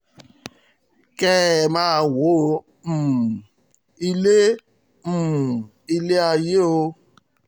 kẹ́ ẹ máa wọ um ilé um ilé ayé o